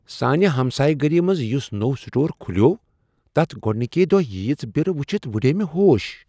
سانہ ہمسایہ گٔری منٛز یس نوٚو سٹور کھلیوو تتھ گۄڑنکی دۄہ ییژ برٕ وٕچھتھ وٕڑییہ مےٚ ہوش۔